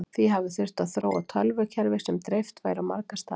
því hafi þurft að þróa tölvukerfi sem dreift væri á marga staði